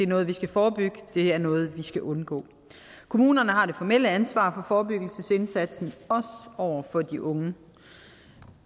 noget vi skal forebygge det er noget vi skal undgå kommunerne har det formelle ansvar for forebyggelsesindsatsen over for de unge